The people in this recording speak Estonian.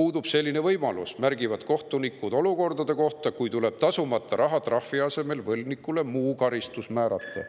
puudub selline võimalus, märgivad kohtunikud olukordade kohta, kui tuleb tasumata rahatrahvi asemel võlgnikule muu karistus määrata.